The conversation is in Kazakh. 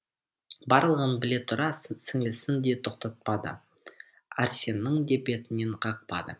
барлығын біле тұра сіңлісін де тоқтатпады арсеннің де бетінен қақпады